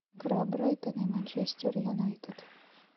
игра брайтон и манчестер юнайтед